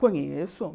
Conheço.